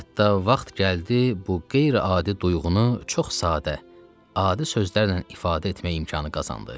Hətta vaxt gəldi bu qeyri-adi duyğunu çox sadə, adi sözlərlə ifadə etmək imkanı qazandı.